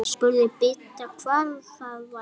Spurði Bibba hvað það væri.